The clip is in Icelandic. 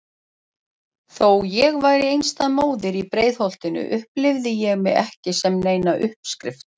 Þó ég væri einstæð móðir í Breiðholtinu upplifði ég mig ekki sem neina uppskrift.